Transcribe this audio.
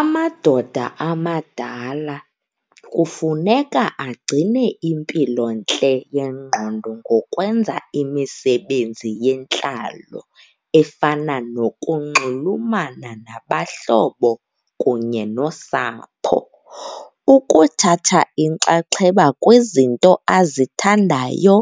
Amadoda amadala kufuneka agcine impilontle yengqondo ngokwenza imisebenzi yentlalo efana nokunxulumana nabahlobo kunye nosapho, ukuthatha inkxaxheba kwizinto azithandayo